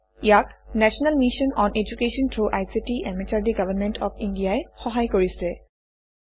ইয়াক national mission on education through ICT MHRD government of India ই সহায় কৰিছে